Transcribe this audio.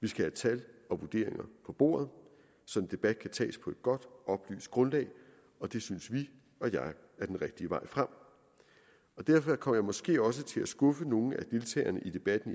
vi skal have tal og vurderinger på bordet så en debat kan tages på et godt oplyst grundlag og det synes vi og jeg er den rigtige vej frem derfor kommer jeg måske også til at skuffe nogle af deltagerne i debatten